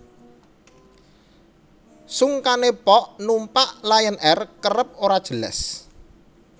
Sungkane pok numpak Lion Air kerep ora jelas